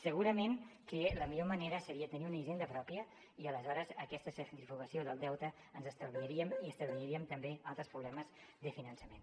segurament que la millor manera seria tenir una hisenda pròpia i aleshores aquesta centrifugació del deute ens l’estalviaríem i estalviaríem també altres problemes de finançament